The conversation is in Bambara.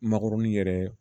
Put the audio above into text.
Makɔrɔni yɛrɛ